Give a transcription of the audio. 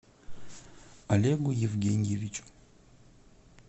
олегу евгеньевичу